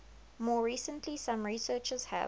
more recently some researchers have